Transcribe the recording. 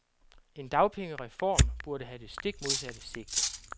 En dagpengereform burde have det stik modsatte sigte.